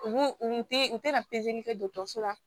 U u u tɛ u tɛ na kɛ la